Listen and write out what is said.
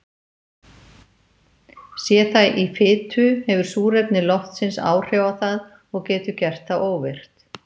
Sé það í fitu hefur súrefni loftsins áhrif á það og getur gert það óvirkt.